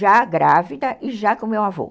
já grávida e já com o meu avô.